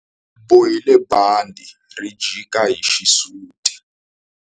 U bohile bandhi ri jika hi xisuti.